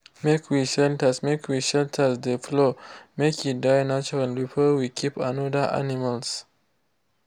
make we shelters make we shelters de floor make e dry natural before we keep another animals.